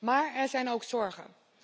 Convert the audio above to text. Maar er zijn ook zorgen.